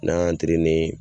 N'an y'an